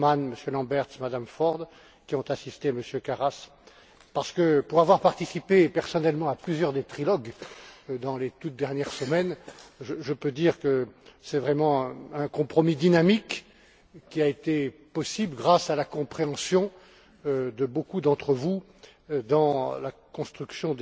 Bullmann, M. Lamberts, Mme Ford, qui ont assisté M. Karas. En effet, pour avoir participé personnellement à plusieurs des trilogues dans les toutes dernières semaines, je peux dire que c'est vraiment un compromis dynamique qui a été possible, grâce à la compréhension de beaucoup d'entre vous, dans la construction